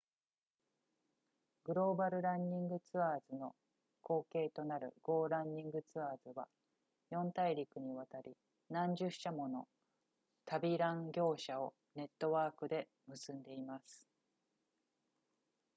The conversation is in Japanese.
global running tours の後継となる go running tours は4大陸にわたり何十社もの旅ラン業者をネットワークで結んでいます